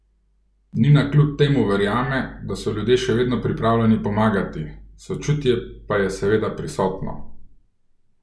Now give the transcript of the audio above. Nina kljub temu verjame, da so ljudje še vedno pripravljeni pomagati: "Sočutje pa je seveda prisotno.